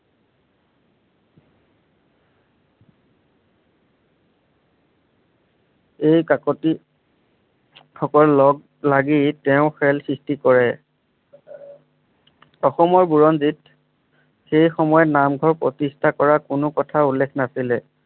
এই কাকতি সকলক লাগি তেওঁ খেল সৃষ্টি কৰে। অসমৰ বুৰঞ্জীত সেই সময়ত নামঘৰ প্ৰতিষ্ঠা কৰা কোনো কথা উল্লেখ নাছিলে।